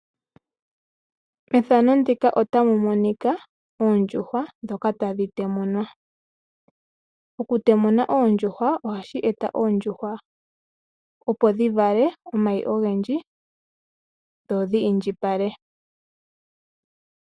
Efano ndika otamu monkia oondjuhwa dhoka tadhi temunwa. Oku temuna oondjuhwa ohashi eta oondjuhwa opo dhi vale oomayi ogendji dho dhi iindjipale.